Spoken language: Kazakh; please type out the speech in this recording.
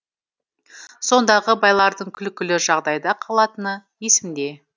сондағы байлардың күлкілі жағдайда қалатыны есімде